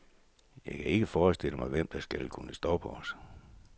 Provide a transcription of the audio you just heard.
Jeg kan ikke forestille mig, hvem der skal kunne stoppe os.